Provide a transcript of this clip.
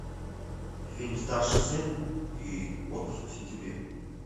фильм старший сын и отпуск в сентябре